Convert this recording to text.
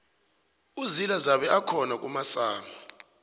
uzila zabe akhona kumasama